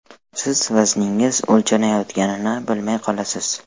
Siz vazningiz o‘lchanayotganini bilmay qolasiz.